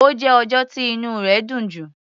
Ó jẹ́ ọjọ́ tí inú rẹ̀ dùn jù.